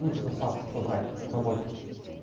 ну типа с вас то чего брать вы работник